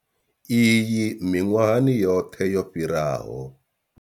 Iyi miṅwahani yoṱhe yo fhiraho.